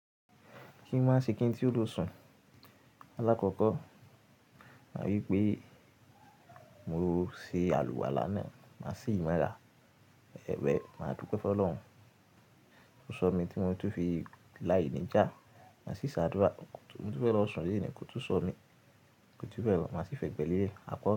Kí n má ṣe kí n tí ó ló sùn. Alákọ̀kọ̀, mà wí pé mo ṣe àlùwà lánàá, màá ṣí mora, well, màá dúpẹ̀ fún Ọlọ́run. Ó sọ mí tí mo túń fi láìníjà, màá sì ṣe àdúrà. Mo túfe lọ sùn loni kò tú sọ mí, kòjubelo, màá sì fẹ egbẹ̀lele. A kọ̀